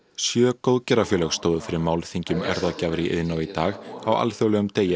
sjö góðgerðarfélög stóðu fyrir málþingi um erfðagjafir í Iðnó í dag á alþjóðlegum degi